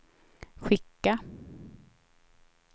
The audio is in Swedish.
skicka